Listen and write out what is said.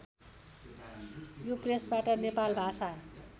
यो प्रेसबाट नेपाल भाषा